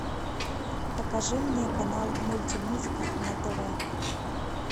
покажи мне канал мультимузыка на тв